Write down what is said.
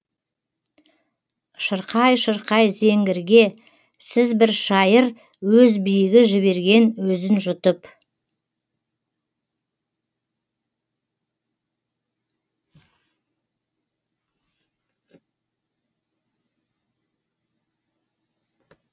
шырқай шырқай зеңгірге сіз бір шайыр өз биігі жіберген өзін жұтып